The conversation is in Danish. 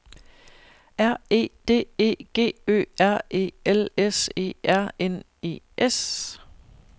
R E D E G Ø R E L S E R N E S